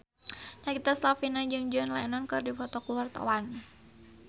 Nagita Slavina jeung John Lennon keur dipoto ku wartawan